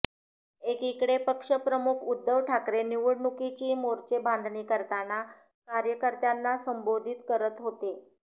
एकीकडे पक्षप्रमुख उद्धव ठाकरे निवडणुकीची मोर्चे बांधणी करताना कार्यकर्त्यांना संबोधित करत होते